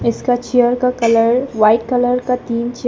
इसका चेयर का colour white colour का तीन चेय--